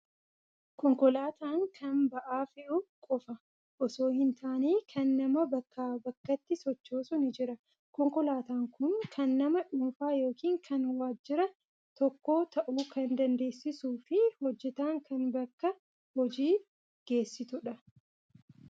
Konkolaataan kan ba'aa fe'u qofaa osoo hin taane kan nama bakkaa bakkatti sochoosus ni jira. Konkolaataan kun kan nama dhuunfaa yookiin kan waajjira tokkoo ta'uu kan dandeessuu fi hojjetaa kan bakka hojii geessitudha.